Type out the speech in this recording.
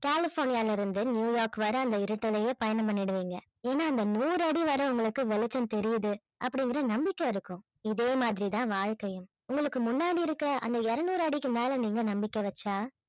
கலிபோர்னியாவில இருந்து நியூயார்க் வரை அந்த இருட்டிலேயே பயணம் பண்ணிடுவீங்க ஏன்னா அந்த நூறு அடி வரை உங்களுக்கு வெளிச்சம் தெரியுது அப்படிங்கிற நம்பிக்கை இருக்கும் இதே மாதிரி தான் வாழ்க்கையும் உங்களுக்கு முன்னாடி இருக்கிற அந்த இருநூறு அடிக்கு மேல நீங்க நம்பிக்கை வச்சா